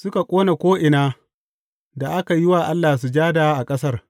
Suka ƙone ko’ina aka yi wa Allah sujada a ƙasar.